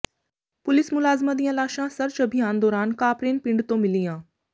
police ਮੁਲਾਜ਼ਮਾਂ ਦੀਆਂ ਲਾਸ਼ਾਂ ਸਰਚ ਅਭਿਆਨ ਦੌਰਾਨ ਕਾਪਰੇਨ ਪਿੰਡ ਤੋਂ ਮਿਲੀਆਂ